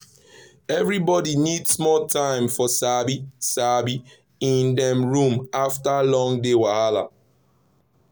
everybody need small time for sabi-sabi in dem room after long day wahala.